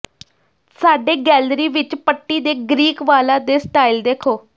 ਸਾਡੇ ਗੈਲਰੀ ਵਿਚ ਪੱਟੀ ਦੇ ਗ੍ਰੀਕ ਵਾਲਾਂ ਦੇ ਸਟਾਈਲ ਦੇਖੋ